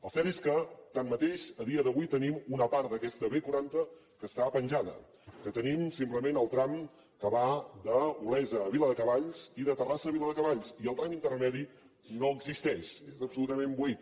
el cert és que tanmateix a dia d’avui tenim una part d’aquesta b quaranta que està penjada que tenim simplement el tram que va d’olesa a viladecavalls i de terrassa a viladecavalls i el tram intermedi no existeix és absolutament buit